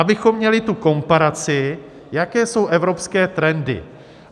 Abychom měli tu komparaci, jaké jsou evropské trendy.